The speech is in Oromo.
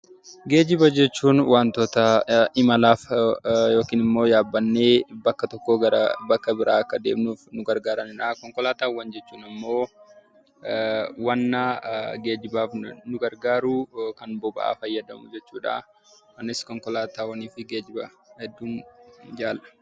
Geejiba jechuun waanta imalaaf yookiin immoo yaabannee bakka tokkoo gara bakka biraatti akka deemnuuf nu gargaaranidha. Konkolaataawwan jechuun immoo waanta geejibaaf nu gargaaru kan boba'aa fayyadamu jechuudha. Annis konkolaataawwan geejibaa hedduun jaalladha.